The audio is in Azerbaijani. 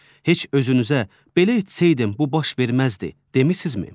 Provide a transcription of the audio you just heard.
Heç özünüzə belə etsəydim bu baş verməzdi, demisinizmi?